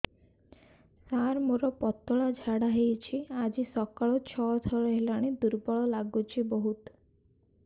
ସାର ମୋର ପତଳା ଝାଡା ହେଉଛି ଆଜି ସକାଳୁ ଛଅ ଥର ହେଲାଣି ଦୁର୍ବଳ ଲାଗୁଚି ବହୁତ